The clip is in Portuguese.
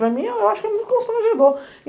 Para mim, eu acho que é muito constrangedor.